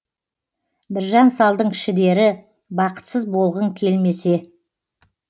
біржан салдың шідері бақытсыз болғың келмесе